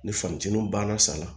Ni fatininu banna sa la